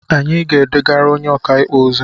Anyị ga-edegara onye ọkaikpe ozi?